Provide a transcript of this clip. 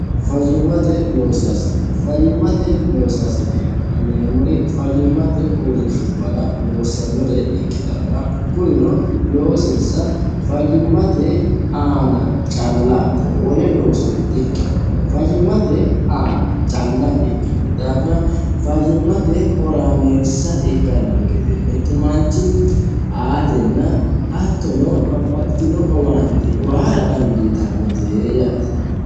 fayyimmate loosaasine fayyimmate loosaasine yineemmori fayyimmate uurrinshubbara loossannore ikkitanna kurino loosinsa fayyimmate aana callaate wole looso di ikkino fayyimmate aana calla ikkino daafira fayyimmate horaameessa ikkanno gede mittu manchi aatenna hattono babbaxxitino owaante uwaara dandiitannotee yaate